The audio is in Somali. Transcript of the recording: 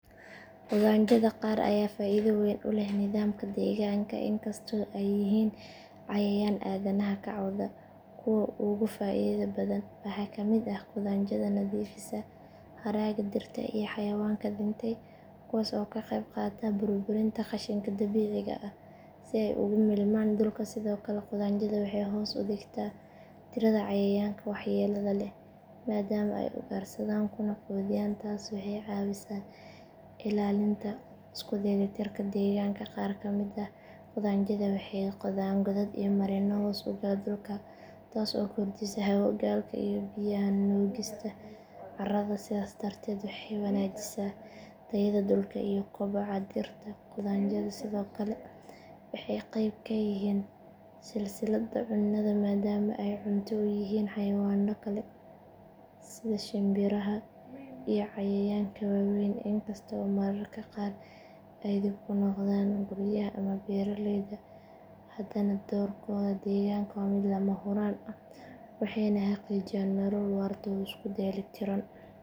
Qudhaanjada qaar ayaa faa’iido weyn u leh nidaamka deegaanka inkastoo ay yihiin cayayaan aadanaha ka cawda kuwa ugu faa’iidada badan waxaa ka mid ah qudhaanjada nadiifisa haraaga dhirta iyo xayawaanka dhintay kuwaas oo ka qeyb qaata burburinta qashinka dabiiciga ah si ay dib ugu milmaan dhulka sidoo kale qudhaanjadu waxay hoos u dhigtaa tirada cayayaanka waxyeelada leh maadaama ay ugaarsadaan kuna quudiyaan taas waxay ka caawisaa ilaalinta isku dheelitirka deegaanka qaar ka mid ah qudhaanjada waxay qodaan godad iyo marinno hoos u gala dhulka taas oo kordhisa hawo galka iyo biyaha nuugista carrada sidaas darteed waxay wanaajisaa tayada dhulka iyo kobaca dhirta qudhaanjadu sidoo kale waxay qayb ka yihiin silsiladda cunnada maadaama ay cunto u yihiin xayawaanno kale sida shimbiraha iyo cayayaanka waaweyn in kasta oo mararka qaar ay dhib ku noqdaan guryaha ama beeraleyda haddana doorkooda deegaanka waa mid lama huraan ah waxayna xaqiijiyaan nolol waarta oo isku dheelitiran.